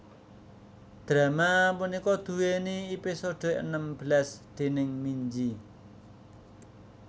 Drama punika duweni episode enem belas déning Minji